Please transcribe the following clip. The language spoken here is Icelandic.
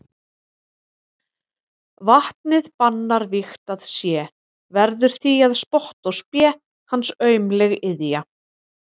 Vatnið bannar vígt að sé, verður því að spotti og spé hans aumleg iðja.